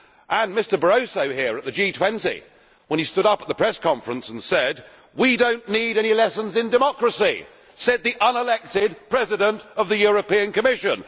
And Mr Barroso here at the G20 he stood up at the press conference and said that we do not need any lessons in democracy said the unelected President of the European Commission.